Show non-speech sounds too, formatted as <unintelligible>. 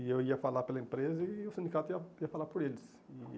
E eu ia falar pela empresa e o sindicato ia ia falar por eles. <unintelligible>